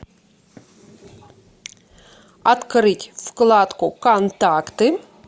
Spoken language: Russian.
открыть вкладку контакты